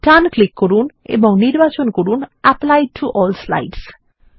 ডান click করুন এবং নির্বাচন করুন অ্যাপলি টো এএলএল স্লাইডস